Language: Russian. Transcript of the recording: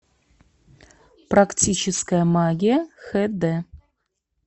практическая магия хд